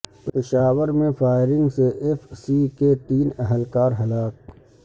پشاور میں فائرنگ سے F C کے تین اہلکار ہلاک